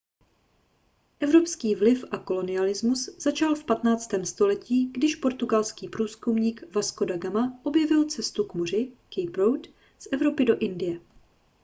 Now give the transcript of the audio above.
evropský vliv a kolonialismus začal v 15. století když portugalský průzkumník vasco da gama objevil cestu po moři cape route z evropy do indie